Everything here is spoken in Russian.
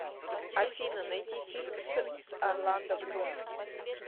афина найти фильм с с орландо блум